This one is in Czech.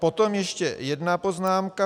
Potom ještě jedna poznámka.